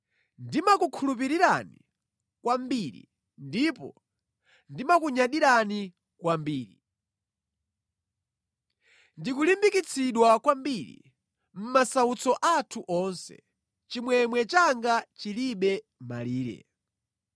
Ndimakukhulupirirani kwambiri ndipo ndimakunyadirani kwambiri. Ndikulimbikitsidwa kwambiri; mʼmasautso athu onse, chimwemwe changa chilibe malire.